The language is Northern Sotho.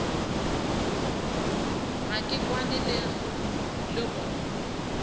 ga ke kwane le gore